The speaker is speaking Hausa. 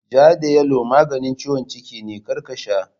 Ja da yalo maganin ciwon ciki ne, kar ka sha!